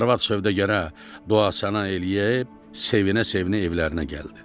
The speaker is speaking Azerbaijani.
Arvad sövdəgara dua-sana eləyib sevinə-sevinə evlərinə gəldi.